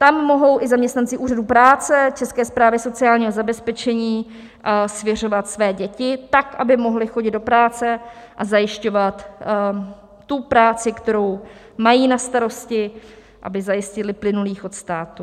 Tam mohou i zaměstnanci úřadů práce, České správy sociálního zabezpečení svěřovat své děti, tak aby mohli chodit do práce a zajišťovat tu práci, kterou mají na starosti, aby zajistili plynulý chod státu.